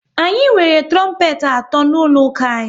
Anyị nwere trompet atọ n'ụlọ ụka anyị